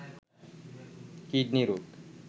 kidney রোগ